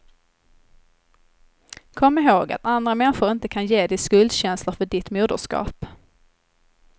Kom ihåg att andra människor inte kan ge dig skuldkänslor för ditt moderskap.